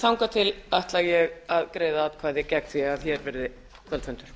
þangað til ætla ég að greiða atkvæði gegn því að hér verði kvöldfundur